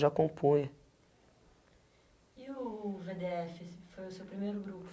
já compunha. E o vê dê efe foi o seu primeiro grupo?